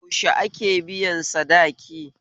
Yaushe ake biyan sadaki?